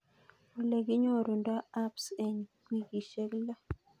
Ole kinyorundo abs en wikishek lo